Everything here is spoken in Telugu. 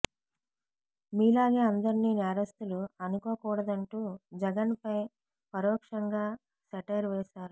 మీలాగే అందరినీ నేరస్తులు అనుకోకూడదంటూ జగన్ పై పరోక్షంగా సెటైర్ వేశారు